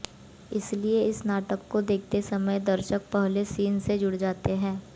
इसलिए इस नाटक को देखते समय दर्शक पहले सीन से जु़ड़ जाते हैं